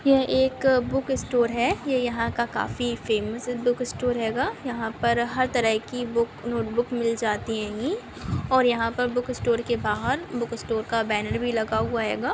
यह एक book store है यह यहाँ का काफी फेमस बुक स्टोर हैगा यहाँ पर हर तरह की बुक नोटबुक मिल जाती हैगी और यहाँ पर बुक स्टोर के बाहर बुक स्टोर का बैनर भी लगा हुआ हैगा।